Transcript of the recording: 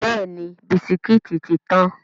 Bẹ́ẹ̀ni, bisikítì tí tán.